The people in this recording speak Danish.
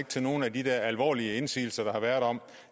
til nogle af de der alvorlige indsigelser der har været om